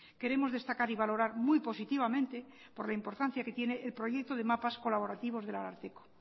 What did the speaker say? queremos destacar y valorar muy positivamente por la importancia que tiene el proyecto de mapas colaborativos del ararteko